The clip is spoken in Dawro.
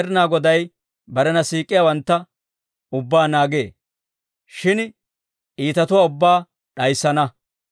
Med'inaa Goday barena siik'iyaawantta ubbaa naagee; shin iitatuwaa ubbaa d'ayissana.